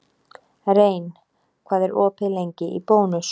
Rein, hvað er opið lengi í Bónus?